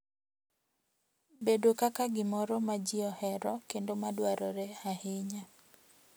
bedo kaka gimoro ma ji ohero kendo ma dwarore ahinya,